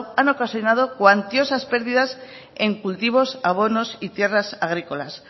han ocasionado cuantiosos perdidas en cultivos abonos y tierras agrícolas